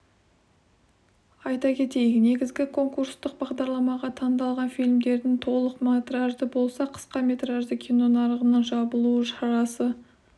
айта кетейік негізгі конкурстық бағдарламаға таңдалған фильмдердің толық метражды болса қысқа метражды кино нарығының жабылу шарасы